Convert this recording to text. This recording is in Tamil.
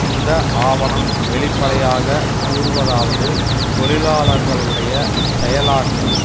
இந்த ஆவணம் வெளிப்படையாக கூறுவதாவது தொழிலாளர்களுடைய செயலாற்றும்